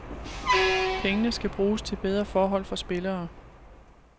Pengene skal bruges til bedre forhold for spillere.